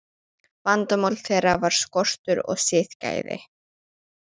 Vandamál þeirra var skortur á siðgæði.